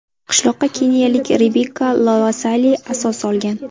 Qishloqqa keniyalik Rebekka Lolosoli asos solgan.